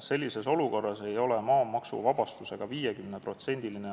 Sellises olukorras ei ole maamaksuvabastusega 50%-line